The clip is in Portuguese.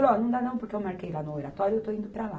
Ó, não dá não, porque eu marquei lá no Oratório e eu estou indo para lá.